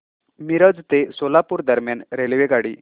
मिरज ते सोलापूर दरम्यान रेल्वेगाडी